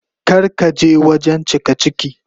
Kar ka je wajen cikaciki.